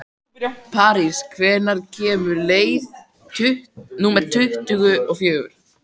París, hvenær kemur leið númer tuttugu og fjögur?